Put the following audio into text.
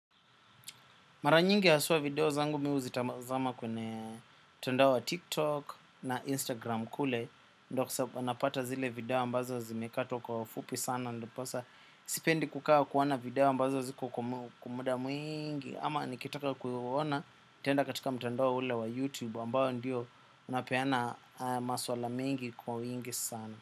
Maranyingi asua video zangu mi uzitamazama kwenye mtandao wa tiktok na instagram kule. Ndo ksa anapata zile video ambazo zimekato kwa wafupi sana. Ndiposa sipendi kukawa kuwona video ambazo ziko kwa muda mwingi ama nikitaka kuhuona tenda katika mtandawo ule wa youtube ambao ndio unapeana maswala mingi kwa wingi sana.